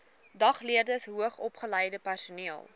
dagleerders hoogsopgeleide personeel